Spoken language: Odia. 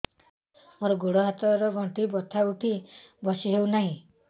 ମୋର ଗୋଡ଼ ହାତ ର ଗଣ୍ଠି ବଥା ଉଠି ବସି ହେଉନାହିଁ